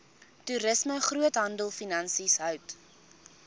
toerisme groothandelfinansies hout